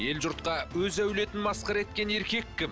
ел жұртқа өз әулетін масқара еткен еркек кім